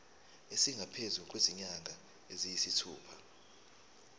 esingaphezu kwezinyanga eziyisithupha